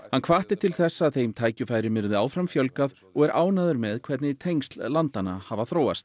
hann hvatti til þess að þeim tækifærum yrði áfram fjölgað og er ánægður með hvernig tengsl landanna hafi þróast